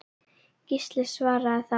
Gísli svaraði þá